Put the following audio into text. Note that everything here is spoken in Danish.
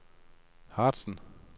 Harzen